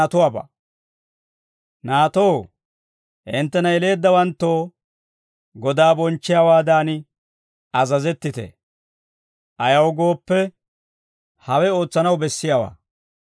Naatoo, hinttena yeleeddawanttoo Godaa bonchchiyaawaadan azazettite; ayaw gooppe, hawe ootsanaw bessiyaawaa.